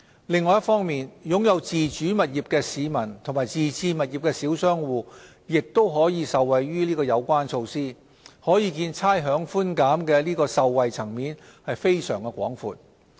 另一方面，擁有自住物業的市民和自置物業的小商戶亦可受惠於有關措施，可見差餉寬減的受惠層面非常廣闊。